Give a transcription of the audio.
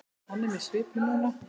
Hann er með svipu núna.